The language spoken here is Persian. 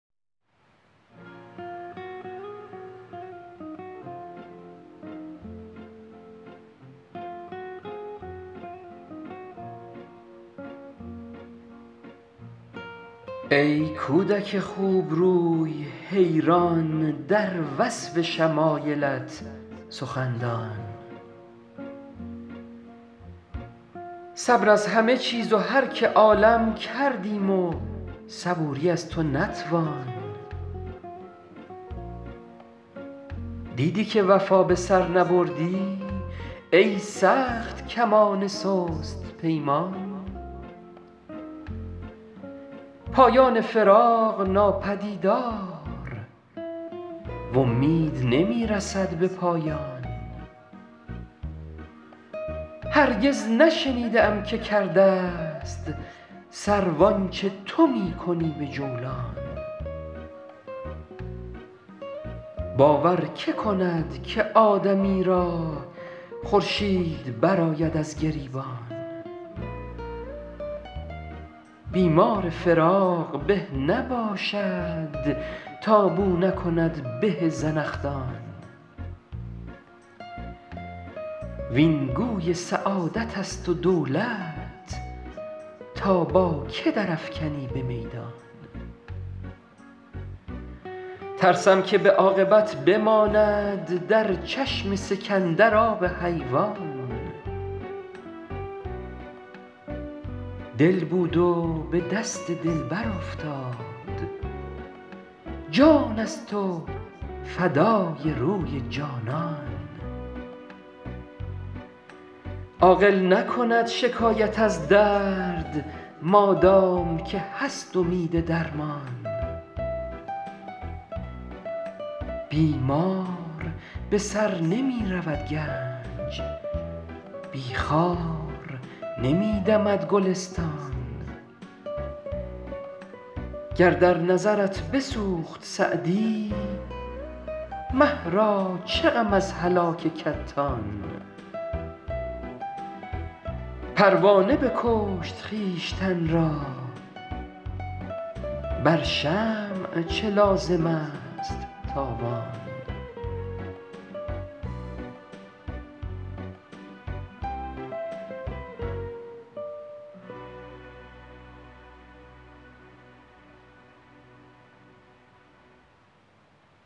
ای کودک خوبروی حیران در وصف شمایلت سخندان صبر از همه چیز و هر که عالم کردیم و صبوری از تو نتوان دیدی که وفا به سر نبردی ای سخت کمان سست پیمان پایان فراق ناپدیدار و امید نمی رسد به پایان هرگز نشنیده ام که کرده ست سرو آنچه تو می کنی به جولان باور که کند که آدمی را خورشید برآید از گریبان بیمار فراق به نباشد تا بو نکند به زنخدان وین گوی سعادت است و دولت تا با که در افکنی به میدان ترسم که به عاقبت بماند در چشم سکندر آب حیوان دل بود و به دست دلبر افتاد جان است و فدای روی جانان عاقل نکند شکایت از درد مادام که هست امید درمان بی مار به سر نمی رود گنج بی خار نمی دمد گلستان گر در نظرت بسوخت سعدی مه را چه غم از هلاک کتان پروانه بکشت خویشتن را بر شمع چه لازم است تاوان